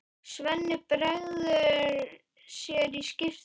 Svenni bregður sér í skyrtu.